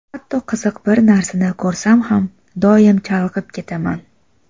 Hatto qiziq bir narsani ko‘rsam ham, doim chalg‘ib ketaman.